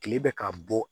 Kile bɛ ka bɔ